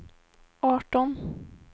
arton